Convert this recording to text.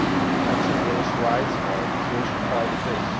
Women's and girls' rights are, of course, part of this.